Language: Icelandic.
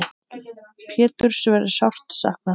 Péturs verður sárt saknað.